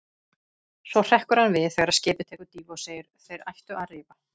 Svo hrekkur hann við þegar skipið tekur dýfu og segir: Þeir ættu að rifa.